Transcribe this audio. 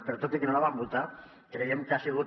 però tot i que no la vam votar creiem que ha sigut